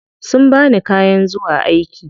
Sun bani kayan zuwa aiki.